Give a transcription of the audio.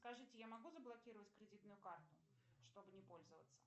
скажите я могу заблокировать кредитную карту чтобы не пользоваться